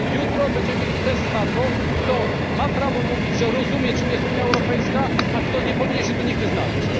Jutro będziemy mieli test na to, kto ma prawo mówić, że rozumie, czym jest Unia Europejska, a kto nie powinien się tu nigdy znaleźć.